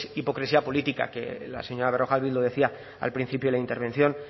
hipocresía política que la señora berrojalbiz lo decía al principio de la intervención